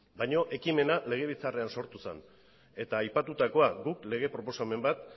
baina ekimena legebiltzarrean sortu zen eta aipatutakoa guk lege proposamen bat